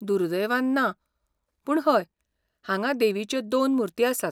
दुर्दैवान, ना, पूण हय, हांगा देवीच्यो दोन मूर्ती आसात.